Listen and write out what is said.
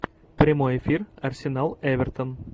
прямой эфир арсенал эвертон